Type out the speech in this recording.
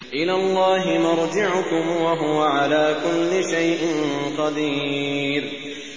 إِلَى اللَّهِ مَرْجِعُكُمْ ۖ وَهُوَ عَلَىٰ كُلِّ شَيْءٍ قَدِيرٌ